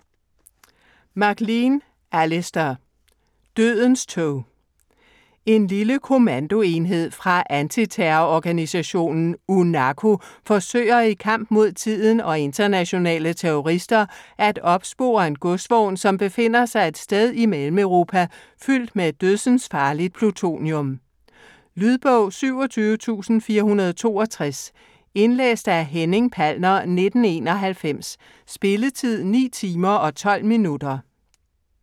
MacLean, Alistair: Dødens tog En lille kommandoenhed fra antiterrororganisationen UNACO forsøger i kamp mod tiden og internationale terrorister at opspore en godsvogn, som befinder sig et sted i Mellemeuropa fyldt med dødsensfarligt plutonium. Lydbog 27462 Indlæst af Henning Palner, 1991. Spilletid: 9 timer, 12 minutter.